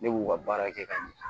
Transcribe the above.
Ne b'u ka baara kɛ ka ɲɛ